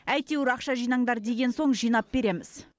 әйтеуір ақша жинаңдар деген соң жинап береміз